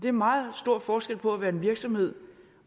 er meget stor forskel på at være en virksomhed